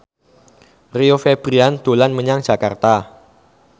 Rio Febrian dolan menyang Jakarta